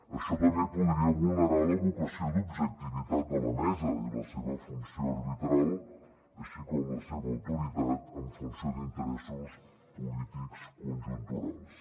això també podria vulnerar la vocació d’objectivitat de la mesa i la seva funció arbitral així com la seva autoritat en funció d’interessos polítics conjunturals